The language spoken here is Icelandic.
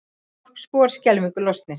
Þorpsbúar skelfingu lostnir